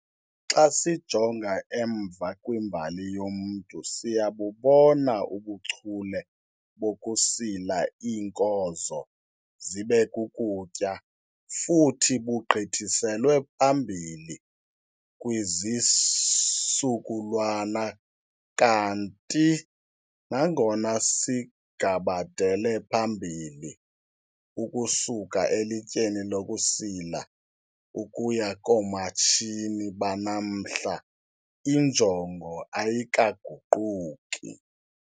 Xa sijonga emva kwimbali yomntu, siyabubona ubuchule bokusila iinkozo zibe kukutya futhi bugqithiselwe phambili kwizisukulwana kanti nangona sigabadele phambili ukusuka elityeni lokusila ukuya koomatshini banamhla, injongo ayikaguquki.